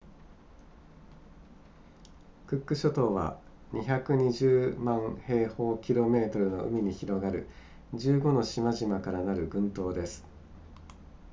クック諸島は220万平方キロメートルの海に広がる15の島々からなる群島です